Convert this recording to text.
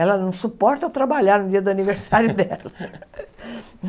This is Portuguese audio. Ela não suporta eu trabalhar no dia do aniversário dela.